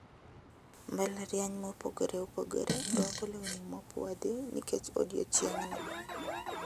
Mbalariany mopogore opogore rwako lewni mopuodhi nikech odiechieng`no.